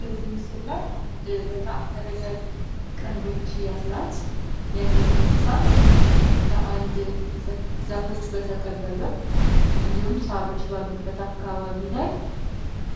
በዚህምሥላል አንድ በጣም እረጃዥ ቀንዶች ያላት የዱር እንስሳት በአንድ ዛፎች በተከበበ እንዲሁም ሳሮች ባሉበት አካባቢ ላይ